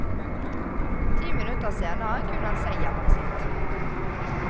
Ti minutter senere kunne han se hjemmet sitt.